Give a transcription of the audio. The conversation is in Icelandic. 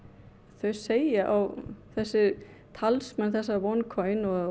þau segja þessi talsmenn OneCoin og